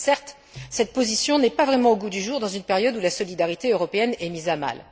Certes, cette position n'est pas vraiment au goût du jour dans une période où la solidarité européenne est mise à mal.